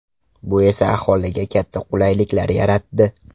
Bu esa aholiga katta qulayliklar yaratdi.